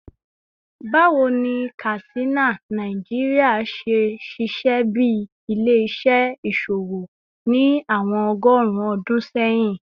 Bawo ni Katsina, Nigeria, ṣe ṣiṣẹ bi ile-iṣẹ iṣowo ni awọn ọgọrun ọdun sẹyin?